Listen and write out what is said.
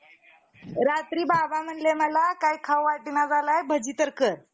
जा~ अं जाग्यात आणि प्रसूत होण्याच्या मार्गात किती चमत्कारिक अंतर आहे. मनुष्य हा ज~ जमिनीवर गुजारा करून राहणारा प्राणी होय.